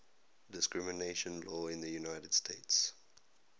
discrimination law in the united states